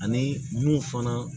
Ani mun fana